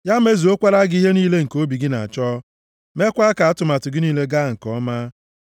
Ya mezukwara gị ihe niile nke obi gị na-achọ, mekwaa ka atụmatụ gị niile gaa nke ọma.